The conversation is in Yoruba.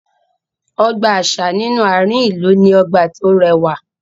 Ọgbà àṣà nínú àárín ìlú ní ọgbà tó rẹwà